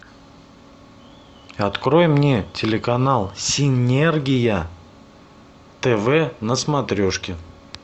открой мне телеканал синергия тв на смотрешке